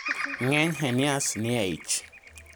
ng'eny hernias nie e ich